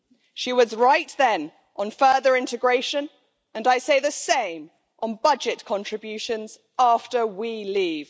She was right then, on further integration, and I say the same with regard to budget contributions after we leave.